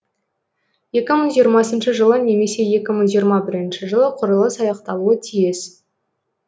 екі мың жиырмасыншы жылы немесе екі мың жиырма бірінші жылы құрылыс аяқталуы тиіс